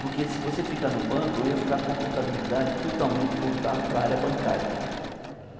Porque se você ficar no banco, eu ia ficar com a contabilidade totalmente voltada paa ra área bancária.